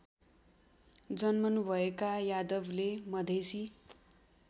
जन्मनुभएका यादवले मधेसी